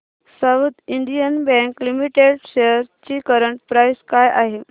south Indian bank limited shares ची current price काय आहे